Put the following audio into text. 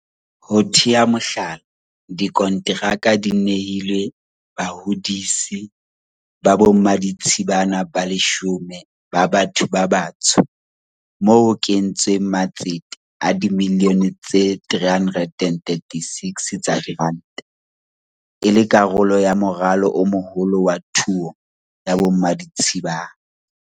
Ho tea mohlala, dikonteraka di nehilwe bahodisi ba bommaditshibana ba 10 ba batho ba batsho moo ho kentsweng matsete a dimilione tse 336 tsa diranta, e le karolo ya moralo o moholo wa thuo ya bommaditshibana.